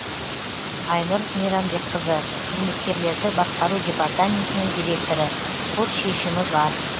айнұр мейрамбекқызы қызметкерлерді басқару департаментінің директоры сот шешімі бар